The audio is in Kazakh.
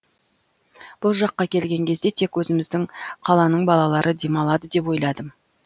бұл жаққа келген кезде тек өзіміздің қаланың балалары демалады деп ойладым